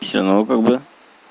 всё ну как бы